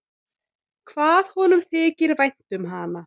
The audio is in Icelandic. Hvað honum þykir vænt um hana!